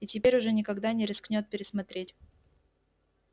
и теперь уже никогда не рискнёт пересмотреть